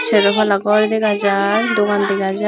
sero balla gor degajai dugan degajai.